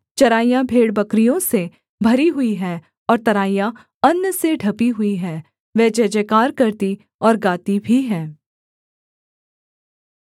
चराइयाँ भेड़बकरियों से भरी हुई हैं और तराइयाँ अन्न से ढँपी हुई हैं वे जयजयकार करती और गाती भी हैं